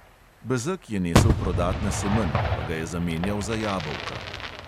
Bezeg je nesel prodat na semenj, pa ga je zamenjal za jabolka.